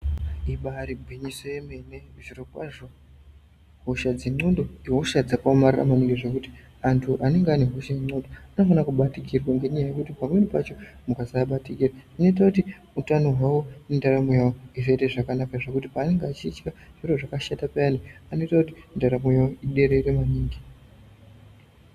Ibayiri gwinyiso yemene zviro kwazvo, hosha dzendxondo ihosha dzakaomarara maningi zvekuti antu anenge aine hosha yendxondo anofanirwa kubatikirwa ngenyaya yekuti pamweni pacho mukasabatikira zvinoita kuti utano wavo nendaramo yavo izoite zvakanaka zvekuti paanenge achidya zviro zvakashata payani anoita kuti ndaramo yavo iderere maningi.